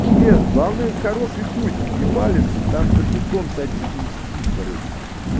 нет главное с хорошей гусь не палиться там за кустом садится и сидит короче